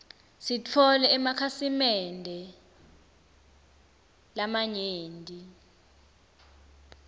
sitfole emakhasi mende lamanyenti